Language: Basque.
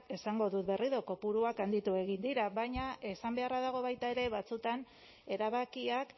esango dut berriro kopuruak handitu egin dira baina esan beharra dago baita ere batzuetan erabakiak